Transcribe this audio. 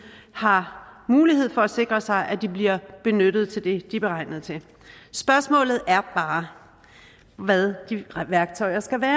har mulighed for at sikre sig at de bliver benyttet til det de er beregnet til spørgsmålet er bare hvad de værktøjer skal være